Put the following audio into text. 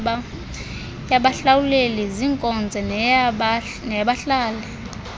yabahlawuleli zinkonzo neyabahlali